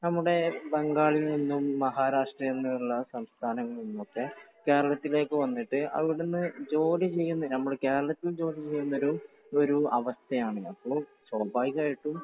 നമ്മുടെ ബംഗാളിൽ നിന്നും മഹാരാഷ്ട്രയിൽ നിന്നും നിന്നുള്ള സംസ്ഥാനങ്ങളിൽനിന്ന് ഒക്കെ കേരളത്തിലേക്ക് വന്നിട്ട് അവിടുന്ന് ജോലി ചെയ്യുന്ന, നമ്മുടെ കേരളത്തിൽ ജോലി ചെയ്യുന്ന ഒരു ഒരു അവസ്ഥയാണുള്ളത് അപ്പോൾ സ്വാഭാവികമായിട്ടും